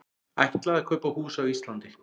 Ætlaði að kaupa hús á Íslandi